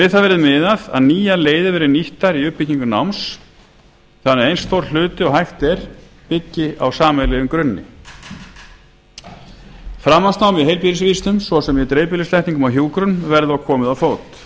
við það verði miðað að nýjar leiðir verði nýttar í uppbyggingu náms þannig að eins stór hluti og hægt er byggi á sameiginlegum grunni framhaldsnámi í heilbrigðisvísindum svo sem í dreifbýlislækningum og hjúkrun verði og komið á fót